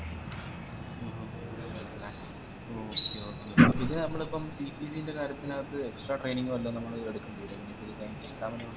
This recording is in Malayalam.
okay okay ഇത് നമ്മളിപ്പോ CPC ൻറെ കാര്യത്തിനായിറ്റ് extra training വല്ലോം നമ്മള് എടക്കേണ്ടേരുഓ